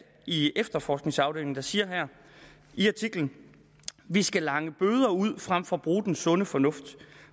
i efterforskningsafdelingen der siger i artiklen vi skal lange bøder ud frem for at bruge den sunde fornuft